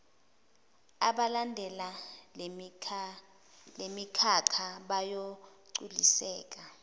abalandela lemikhakha bayogculiseka